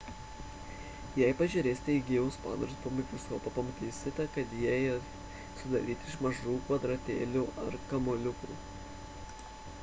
jei pažiūrėsite į gyvus padarus pro mikroskopą pamatysite kad jie sudaryti iš mažų kvadratėlių ar kamuoliukų